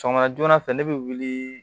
Sɔgɔma joona fɛ ne bɛ wuli